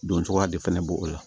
Don cogoya de fɛnɛ b'o o la